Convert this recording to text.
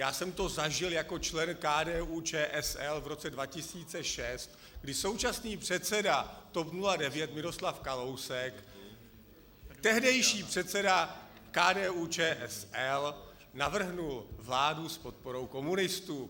Já jsem to zažil jako člen KDU-ČSL v roce 2006, kdy současný předseda TOP 09 Miroslav Kalousek, tehdejší předseda KDU-ČSL, navrhl vládu s podporou komunistů.